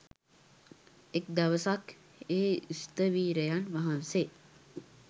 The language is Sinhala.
එක් දවසක් ඒ ස්ථවිරයන් වහන්සේ